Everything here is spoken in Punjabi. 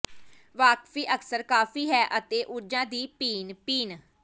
ਵਾਕਫੀ ਅਕਸਰ ਕਾਫੀ ਹੈ ਅਤੇ ਊਰਜਾ ਦੀ ਪੀਣ ਪੀਣ